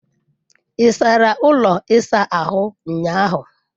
Ị sara ụlọ ịsa ahụ ụnyahụ?